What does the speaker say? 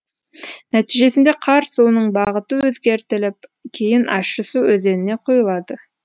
нәтижесінде қар суының бағыты өзгертіліп кейін ащысу өзеніне құйылады